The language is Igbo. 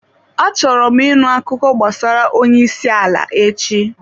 Achọrọ m ịṅụ akụkọ gbasara onye isi ala echi.